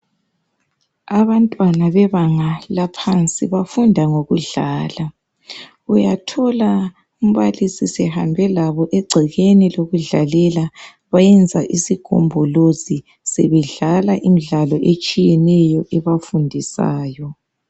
Abantwana bebanga laphansi bafunda ngokudlala uyathola umbalisi sehambe labo egcekeni lokudlalela bayenza isikhumbuluzi sebedlala imidlalo etshiyeneyo ebafundisayo